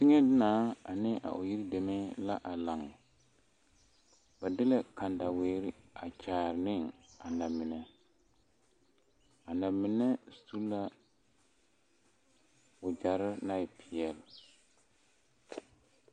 Teŋɛ naa ane o yiri deme la a laŋ ba de la kandaweere a kyaare ne a namine a namine su la wagyɛre naŋ e peɛlle.